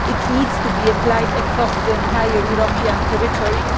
It needs to be applied across the entire European territory.